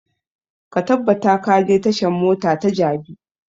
Ka tabbata ka je tashan mota ta jabi!